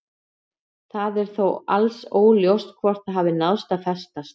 Það er þó alls óljóst hvort það hafi náð að festast.